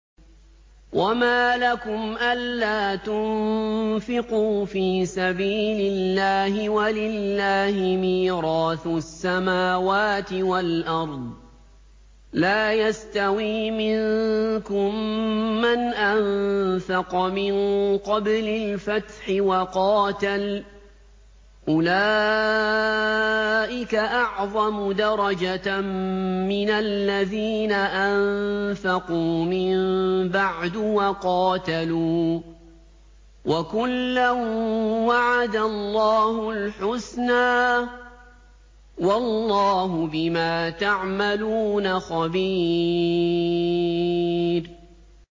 وَمَا لَكُمْ أَلَّا تُنفِقُوا فِي سَبِيلِ اللَّهِ وَلِلَّهِ مِيرَاثُ السَّمَاوَاتِ وَالْأَرْضِ ۚ لَا يَسْتَوِي مِنكُم مَّنْ أَنفَقَ مِن قَبْلِ الْفَتْحِ وَقَاتَلَ ۚ أُولَٰئِكَ أَعْظَمُ دَرَجَةً مِّنَ الَّذِينَ أَنفَقُوا مِن بَعْدُ وَقَاتَلُوا ۚ وَكُلًّا وَعَدَ اللَّهُ الْحُسْنَىٰ ۚ وَاللَّهُ بِمَا تَعْمَلُونَ خَبِيرٌ